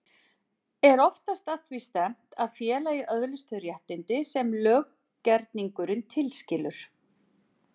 Er oftast að því stefnt að félagið öðlist þau réttindi sem löggerningurinn tilskilur.